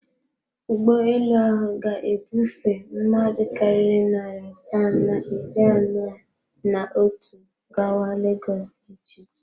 Ụgbọelu ahụ ga-ebufe mmadụ karịrị narị asaa na iri anọ na otu gawa Legọs echi.